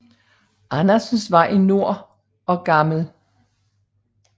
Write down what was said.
Andersens Vej i nord og Gl